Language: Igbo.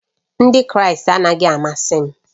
Ndị Kraịst anaghị amasị m